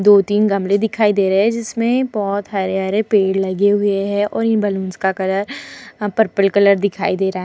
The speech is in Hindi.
दो तिन गमले दिखाई दे रहे है जिसमे बोहोत हरे-हरे पेड़ लगे हुए हैं और इन बलुन्स का कलर पर्पल कलर दिखाई दे रहा --